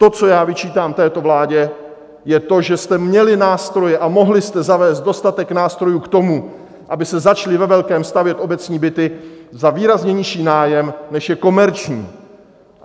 To, co já vyčítám této vládě, je to, že jste měli nástroje a mohli jste zavést dostatek nástrojů k tomu, aby se začaly ve velkém stavět obecní byty za výrazně nižší nájem, než je komerční.